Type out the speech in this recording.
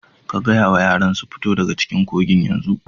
Ka gaya wa yaran su fito daga cikin kogin yanzu!